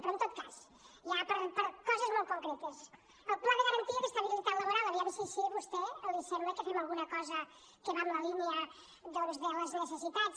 però en tot cas ja per coses molt concretes el pla de garantia d’estabilitat laboral a veure si així a vostè li sembla que fem alguna cosa que va en la línia doncs de les necessitats